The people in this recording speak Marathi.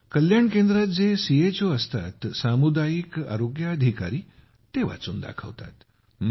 कल्याण केंद्रात जे चो असतात सामुदायिक आरोग्य अधिकारी ते वाचून दाखवतात